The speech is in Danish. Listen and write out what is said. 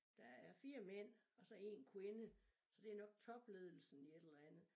Der er 4 mænd og så 1 kvinde så det nok topledelsen i et eller andet